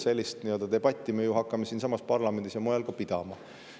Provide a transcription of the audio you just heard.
Sellist debatti me ju hakkame siinsamas parlamendis ja mujal pidama.